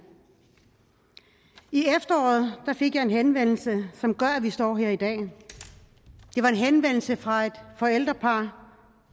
i efteråret fik jeg en henvendelse som gør at vi står her i dag det var en henvendelse fra et forældrepar